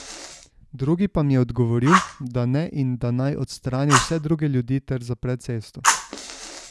Drugi pa mi je odgovoril, da ne in da naj odstrani vse druge ljudi ter zapre cesto.